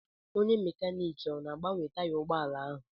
Onye mekaniiki ọ na-agbanwe taya ụgbọala ahụ?